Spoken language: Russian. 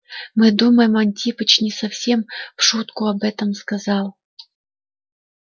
мы думаем антипыч не совсем в шутку об этом сказал